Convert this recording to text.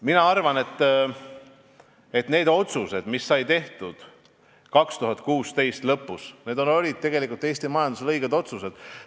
Ma arvan, et need otsused, mis tehti 2016. aasta lõpus, olid tegelikult Eesti majandusele õiged otsused.